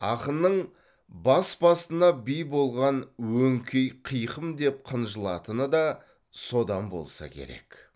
ақынның бас басына би болған өңкей қиқым деп қынжылатыны да содан болса керек